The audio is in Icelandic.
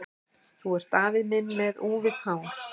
Þú ert afi minn með úfið hár!